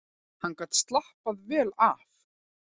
Hann gat slappað vel af.